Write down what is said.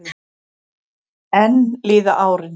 Enn líða árin.